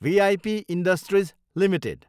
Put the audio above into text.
we I P industries Ltd